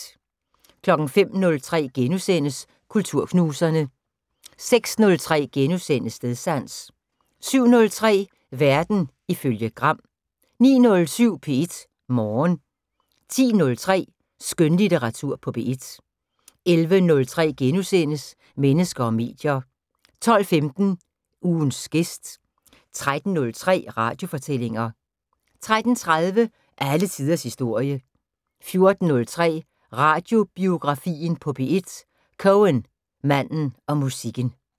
05:03: Kulturknuserne * 06:03: Stedsans * 07:03: Verden ifølge Gram 09:07: P1 Morgen 10:03: Skønlitteratur på P1 11:03: Mennesker og medier * 12:15: Ugens gæst 13:03: Radiofortællinger 13:30: Alle tiders historie 14:03: Radiobiografien på P1. Cohen, manden og musikken